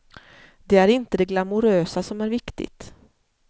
Det är inte det glamorösa som är viktigt.